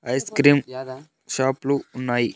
Ice cream షాప్లు ఉన్నాయి.